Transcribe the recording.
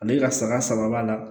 Ale ka saga saba b'a la